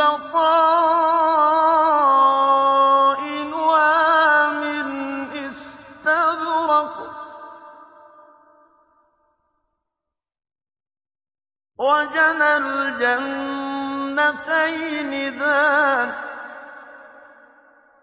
بَطَائِنُهَا مِنْ إِسْتَبْرَقٍ ۚ وَجَنَى الْجَنَّتَيْنِ دَانٍ